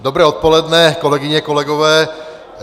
Dobré odpoledne, kolegyně, kolegové.